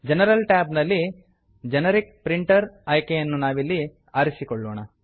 general tab ನಲ್ಲಿ generic printer generic printer ಆಯ್ಕೆಯನ್ನು ನಾವಿಲ್ಲಿ ಆರಿಸಿಕೊಳ್ಳೋಣ